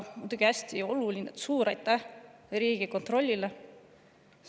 Muidugi hästi oluline: suur aitäh Riigikontrollile!